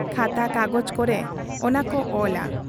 ᱠᱟᱛᱷᱟ ᱠᱟᱜᱚᱡᱽ ᱠᱚᱨᱮ ᱚᱱᱟ ᱠᱚ ᱚᱞᱟ ᱾